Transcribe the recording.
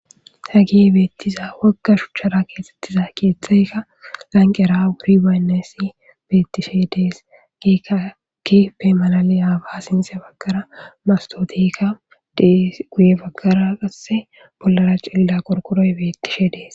ha gi beettiza wagga shuchchara keexettiza keeththaykka lanqera wuri baynnessi bettishe dees giikakipe malali aaba sinxe baggara mastotikka dees guye baggara qasse bollara cilla qorkoroy beettishe dees